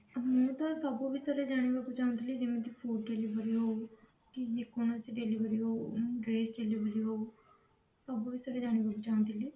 ହଁ ସବୁ ବିଷୟରେ ଜାଣିବାକୁ ଚାହୁଁଥିଲି ମାନେ ଯେମିତିକି delivery ହଉ କି ଯେ କୌଣସି delivery ହଉ dress delivery ହଉ ସବୁ ବିଷୟରେ ଜାଣିବାକୁ ଚାହୁଁଥିଲି